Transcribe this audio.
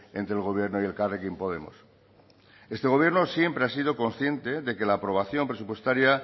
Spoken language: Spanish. entre el gobierno y elkarrekin podemos este gobierno siempre ha sido consciente de que la aprobación presupuestaria